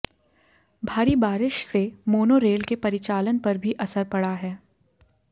भारी बारिश से मोनो रेल के परिचालन पर भी असर पड़ा है